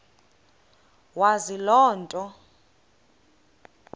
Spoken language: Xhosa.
wazi loo nto